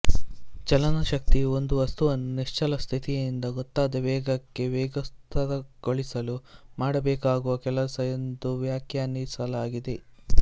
ಚಲನಶಕ್ತಿಯು ಒಂದು ವಸ್ತುವನ್ನು ನಿಶ್ಚಲ ಸ್ತಿತಿಯಿಂದ ಗೊತ್ತಾದ ವೇಗಕ್ಕೆ ವೇಗೋತ್ಕರ್ಷಗೊಳಿಸಲು ಮಾಡಬೇಕಾಗುವ ಕೆಲಸ ಎಂದು ವ್ಯಾಖ್ಯಾನಿಸಲಾಗಿದೆ